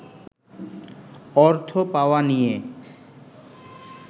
অর্থ পাওয়া নিয়ে